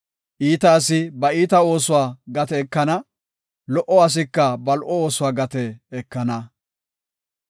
Iita asi ba iita oosuwa gate ekana; lo77o asika ba lo77o oosuwa gate ekana.